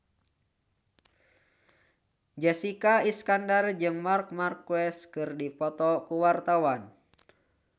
Jessica Iskandar jeung Marc Marquez keur dipoto ku wartawan